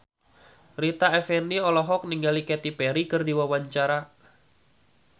Rita Effendy olohok ningali Katy Perry keur diwawancara